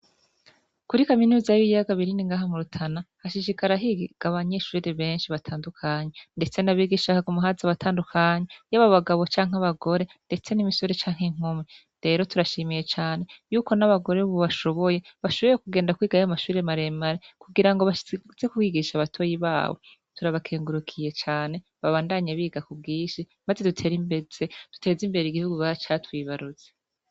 Kuri kaminuza y'ibiyaga binini ngaha mu Rutana hashishikara higa abanyeshuri benshi batandukanye, ndetse n'abigisha haguma haza abatandukanye yaba abagabo canke abagore, ndetse n'imisore canke inkumi, rero turashimiye cane yuko n'abagore bubu bashoboye, bashoboye kugenda kwiga ya mashure maremare kugira ngo baze kwigisha batoyi babo, turabakengurukiye cane babandanye biga ku bwinshi maze dutere imbere, duteze imbere igihugu ca twibarutse.